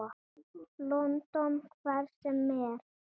London. hvert sem er.